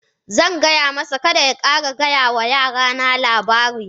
Zan gaya masa, Kada ya ƙara gaya wa yara na labarin?